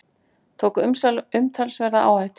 Tók umtalsverða áhættu